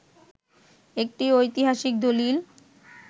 একটি ঐতিহাসিক দলিল